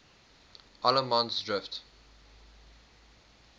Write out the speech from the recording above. allemansdrift